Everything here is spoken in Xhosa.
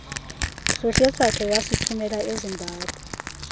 hlohlesakhe wasithumela ezimbabwe